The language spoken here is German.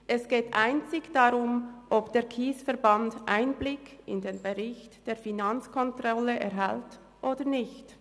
Es geht einzig darum, ob der KSE Bern Einblick in den Bericht der Finanzkontrolle erhält oder nicht.